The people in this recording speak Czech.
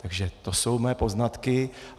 Takže to jsou mé poznatky.